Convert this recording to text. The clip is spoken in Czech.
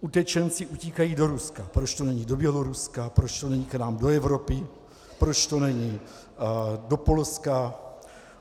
utečenci utíkají do Ruska, proč to není do Běloruska, proč to není k nám do Evropy, proč to není do Polska.